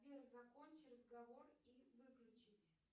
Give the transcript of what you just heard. сбер закончи разговор и выключить